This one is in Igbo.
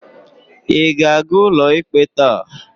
Ị ga-aga ụlọikpe taa?